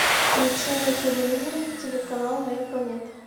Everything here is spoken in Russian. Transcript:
включи на телевизоре телеканал моя планета